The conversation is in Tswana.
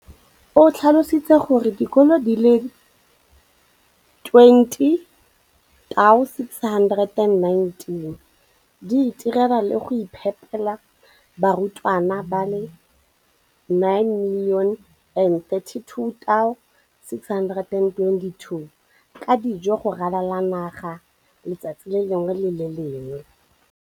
o tlhalositse gore dikolo di le 20 619 di itirela le go iphepela barutwana ba le 9 032 622 ka dijo go ralala naga letsatsi le lengwe le le lengwe.